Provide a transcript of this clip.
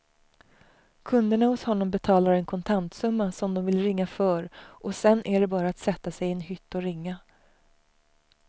Kunderna hos honom betalar en kontantsumma som de vill ringa för och sedan är det bara att sätta sig i en hytt och ringa.